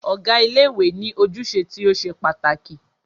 Ọ̀gá ilé ìwé ní ojúṣe tí o ṣe pàtàkì.